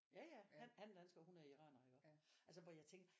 Ja ja han han er dansker og hun er iraner iggå altså hvor jeg tænker